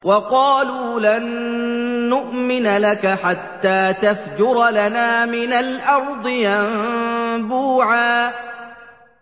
وَقَالُوا لَن نُّؤْمِنَ لَكَ حَتَّىٰ تَفْجُرَ لَنَا مِنَ الْأَرْضِ يَنبُوعًا